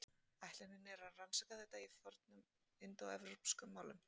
Ætlunin er að rannsaka þetta í fornum indóevrópskum málum.